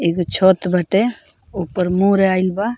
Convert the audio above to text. एगो छत बाटे ओकर मोर आइल बा।